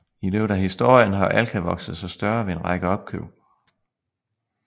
I løbet af historien har Alka vokset sig større ved en række opkøb